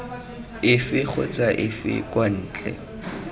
efe kgotsa efe kwa ntle